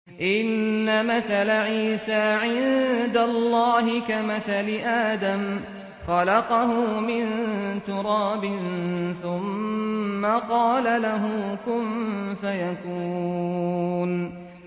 إِنَّ مَثَلَ عِيسَىٰ عِندَ اللَّهِ كَمَثَلِ آدَمَ ۖ خَلَقَهُ مِن تُرَابٍ ثُمَّ قَالَ لَهُ كُن فَيَكُونُ